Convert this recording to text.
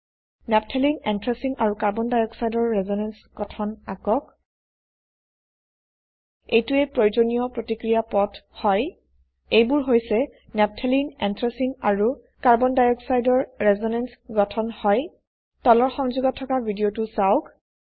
নাফথালেনে এন্থ্ৰাচিন আৰু Carbon dioxideৰ ৰেজোনেনচ গঠন আকক এইটোৱে প্ৰয়োজনীয় প্ৰতিক্ৰিয়া পথ হয় এইবোৰ হৈছে নাফথালেনে এন্থ্ৰাচিন আৰু Carbon dioxideৰ ৰেজোনেনচ গঠন হয় তলৰ সংযোগত থকা ভিদিয়তো চাওক